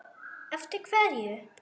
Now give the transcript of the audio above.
Eftir hverju?